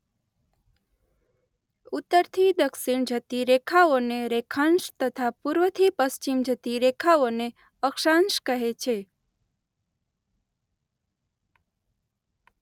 ઉત્તર થી દક્ષિણ જતી રેખાઓ ને રેખાંશ તથા પૂર્વથી પશ્ચિમ જતી રેખાઓને અક્ષાંશ કહે છે.